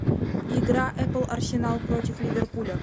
игра апл арсенал против ливерпуля